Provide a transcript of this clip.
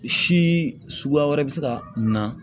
Si suguya wɛrɛ bɛ se ka na